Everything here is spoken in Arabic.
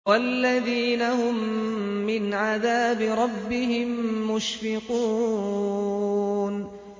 وَالَّذِينَ هُم مِّنْ عَذَابِ رَبِّهِم مُّشْفِقُونَ